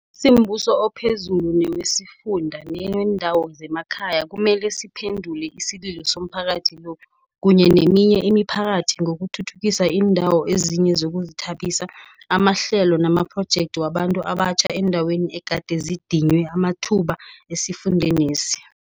Simbuso ophezulu, newesifunda neweendawo zemakhaya kumele siphendule isililo somphakathi lo, kunye neminye imiphakathi ngokuthuthukisa iindawo ezinye zokuzithabisa, amahlelo namaphrojekthi wabantu abatjha eendaweni egade zidinywe amathuba esifundenesi.